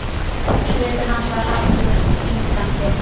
Svipur hans var harður og stingandi.